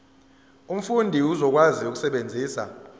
umfundi uzokwazi ukusebenzisa